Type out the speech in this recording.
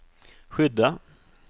skydda